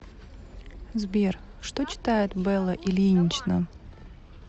сбер что читает белла ильинична